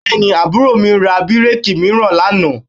Bẹ́ẹ̀ni, àbúrò mi ra bíréèkì mìíràn lánàá